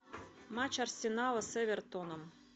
матч арсенала с эвертоном